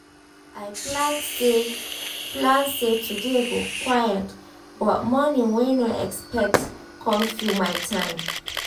i plan say plan say today go quiet but morning wey no expect come fill my time